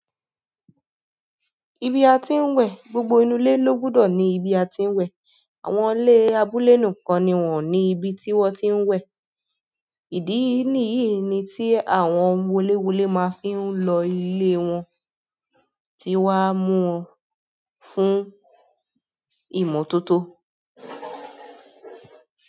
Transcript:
Ibi atin wẹ gbogbo inú ilé ló gbúdọ̀ ní ibi atin wẹ. Àwọn ilé abúlé nìkan ni wọ́n ò ní ibi tí wọ́n ti ń wẹ̀. Ìdí nìyí tí àwọn wolewole má ń fi lo ilé wọn wa muwon fún ìmọ́tótó.